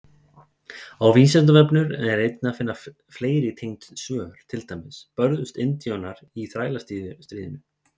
Á Vísindavefnum er að finna fleiri tengd svör, til dæmis: Börðust indjánar í Þrælastríðinu?